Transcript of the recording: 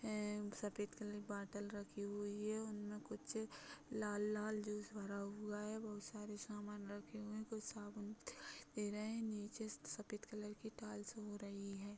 एवं सफेद कलर की बॉटल रखी हुई है उनमे कुछ लाल लाल जूस भरा हुआ है बहुत सारे सामान रखे हुए है कुछ साबुन भी दे रहे है नीचे सफेद कलर की टाइल्स हो रही है।